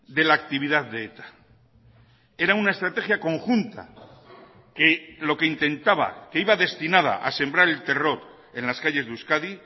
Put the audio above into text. de la actividad de eta era una estrategia conjunta que lo que intentaba que iba destinada a sembrar el terror en las calles de euskadi